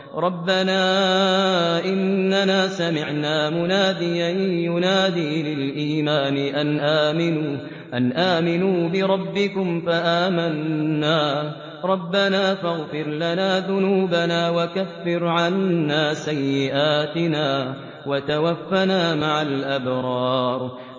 رَّبَّنَا إِنَّنَا سَمِعْنَا مُنَادِيًا يُنَادِي لِلْإِيمَانِ أَنْ آمِنُوا بِرَبِّكُمْ فَآمَنَّا ۚ رَبَّنَا فَاغْفِرْ لَنَا ذُنُوبَنَا وَكَفِّرْ عَنَّا سَيِّئَاتِنَا وَتَوَفَّنَا مَعَ الْأَبْرَارِ